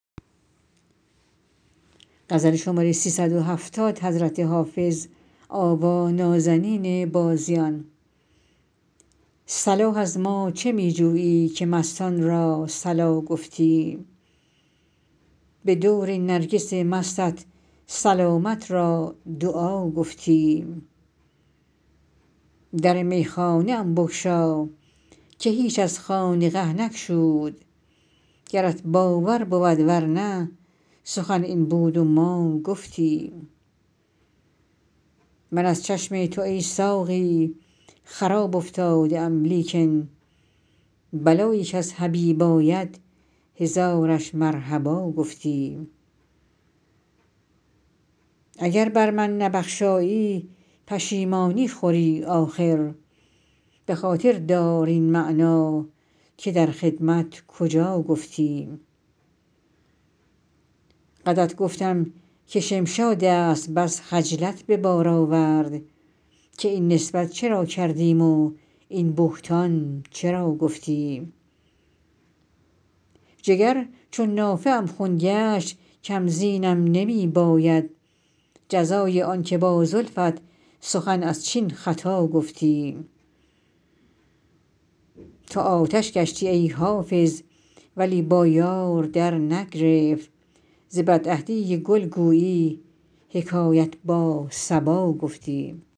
صلاح از ما چه می جویی که مستان را صلا گفتیم به دور نرگس مستت سلامت را دعا گفتیم در میخانه ام بگشا که هیچ از خانقه نگشود گرت باور بود ور نه سخن این بود و ما گفتیم من از چشم تو ای ساقی خراب افتاده ام لیکن بلایی کز حبیب آید هزارش مرحبا گفتیم اگر بر من نبخشایی پشیمانی خوری آخر به خاطر دار این معنی که در خدمت کجا گفتیم قدت گفتم که شمشاد است بس خجلت به بار آورد که این نسبت چرا کردیم و این بهتان چرا گفتیم جگر چون نافه ام خون گشت کم زینم نمی باید جزای آن که با زلفت سخن از چین خطا گفتیم تو آتش گشتی ای حافظ ولی با یار درنگرفت ز بدعهدی گل گویی حکایت با صبا گفتیم